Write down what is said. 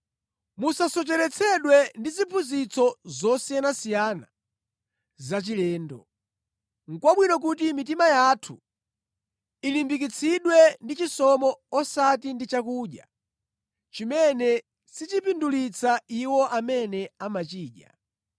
Musasocheretsedwe ndi ziphunzitso zosiyanasiyana zachilendo. Nʼkwabwino kuti mitima yathu ilimbikitsidwe ndi chisomo osati ndi chakudya, chimene sichipindulitsa iwo amene amachidya.